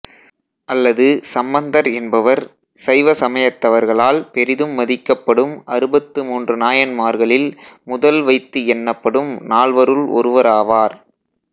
அல்லது சம்பந்தர் என்பவர் சைவ சமயத்தவர்களால் பெரிதும் மதிக்கப்படும் அறுபத்து மூன்று நாயன்மார்களில் முதல் வைத்து எண்ணப்படும் நால்வருள் ஒருவராவார்